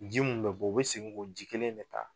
Ji mun be bɔ, u be segin ko ji kelen in de taa